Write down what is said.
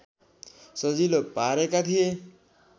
सजिलो पारेका थिए